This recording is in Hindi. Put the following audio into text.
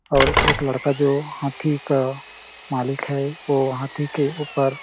और एक लड़का जो हाथी का मालिक है वो हाथी के ऊपर --